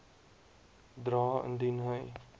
dra indien hy